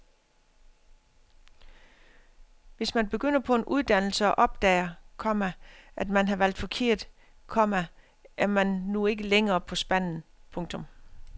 Hvis man begynder på en uddannelse og opdager, komma at man har valgt forkert, komma er man nu ikke længere på spanden. punktum